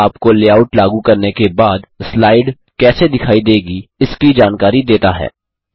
यह आपको लेआउट लागू करने के बाद स्लाइट कैसे दिखाई देगी है इसकी जानकारी देता है